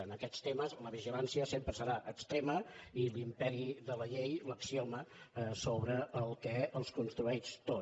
en aquests te·mes la vigilància sempre serà extrema i l’imperi de la llei l’axioma sobre el qual es construeix tot